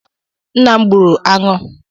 Nna m gburu aṅụ.